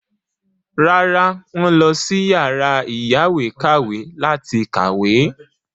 Rárá, wọ́n lọ sí yàrá ìyáwèékàwé láti kàwé.